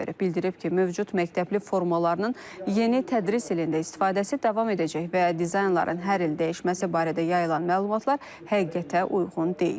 Bildirib ki, mövcud məktəbli formalarının yeni tədris ilində istifadəsi davam edəcək və dizaynların hər il dəyişməsi barədə yayılan məlumatlar həqiqətə uyğun deyil.